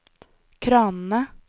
kranene